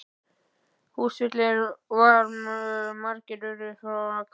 Húsfyllir var og margir urðu frá að hverfa.